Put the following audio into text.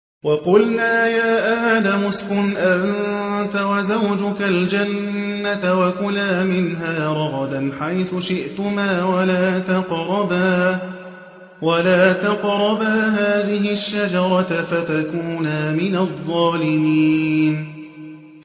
وَقُلْنَا يَا آدَمُ اسْكُنْ أَنتَ وَزَوْجُكَ الْجَنَّةَ وَكُلَا مِنْهَا رَغَدًا حَيْثُ شِئْتُمَا وَلَا تَقْرَبَا هَٰذِهِ الشَّجَرَةَ فَتَكُونَا مِنَ الظَّالِمِينَ